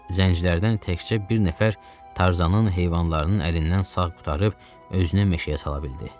Zəncilərdən təkcə bir nəfər Tarzanın heyvanlarının əlindən sağ qurtarıb özünü meşəyə sala bildi.